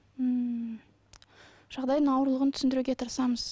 ммм жағдайының ауырлығын түсіндіруге тырысамыз